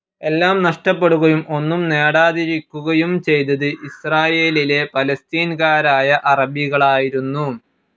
എല്ലാം നഷ്ട്ടപ്പെടുകയും ഒന്നും നെടാതിരിക്കുകയും ചെയ്തത് ഇസ്രായേലിലെ പലസ്തീൻകാറായ അറബികാലായിരുന്നു